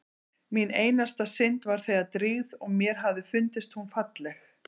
Mín einasta synd var þegar drýgð og mér hafði fundist hún falleg.